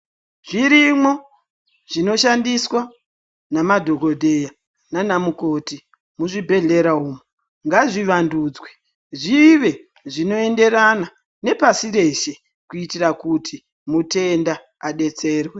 Zvirimwo zvinoshandiswa nadhokodheya nana mukoti muzvibhehlera umu ngazvivandudzwe zvive zvinoenderana nepasi rose kuitira kuti mutenda adetserwe.